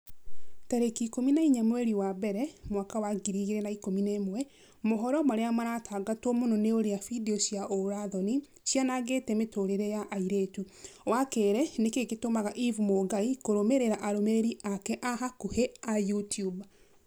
tarĩki ikũmi na inya mweri wa mbere mwaka wa ngiri igĩrĩ na ikũmi na ĩmwe mohoro marĩa maratangatwo mũno ni ũrĩa findio cia ũũra-thoni cianangĩte mĩtũrĩre ya airĩtu wa kerĩ nĩkĩĩ gĩtũmaga eve mũngai kũrũmĩrĩra arũmĩrĩri ake a hakuhi a YouTUBE